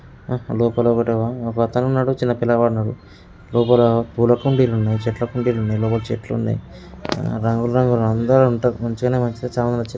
లోపల ఒకతను ఉన్నాడు. చిన్న పిల్లగాడు ఉన్నాడు. లోపల పూల కుండీలు ఉన్నాయి. చెట్ల కుండీలు ఉన్నాయి. లోపల చెట్లు ఉన్నాయి. రంగు రంగుల అందరూ ఉంటారు. మంచిగానే మంచిగా చాన మంచిగ--